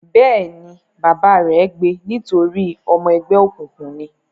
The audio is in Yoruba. Bẹ́ẹ̀ ni, bàbá rẹ̀ gbe nítorí ọmọ ẹgbẹ́ òkùnkùn ni.